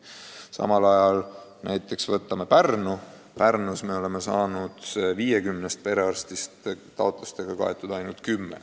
Samal ajal näiteks Pärnus on 50 perearstist taotlustega kaetud ainult 10.